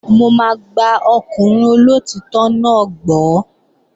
Mò máa gba ọkùnrin olóòtítọ́ náà gbọ́